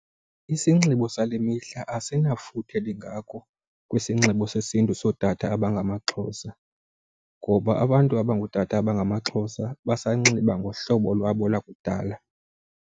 Isinxibo sale mihla asinako futhe lingako kwisinxibo sesiNtu sotata abangamaXhosa ngoba abantu abangootata abangamaXhosa basanxiba ngohlobo lwabo lakudala.